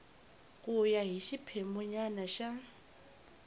ku ya hi xiphemunyana xa